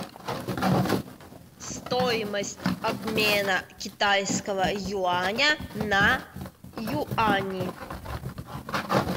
стоимость обмена китайского юаня на юани